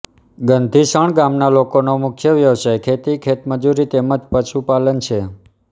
ગંધીસણ ગામના લોકોનો મુખ્ય વ્યવસાય ખેતી ખેતમજૂરી તેમ જ પશુપાલન છે